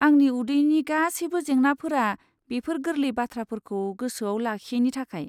आंनि उदैनि गासैबो जेंनाफोरा बेफोर गोरलै बाथ्राफोरखौ गोसोआव लाखियैनि थाखाय।